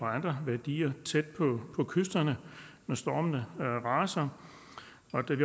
andre værdier tæt på kysterne når stormene har raset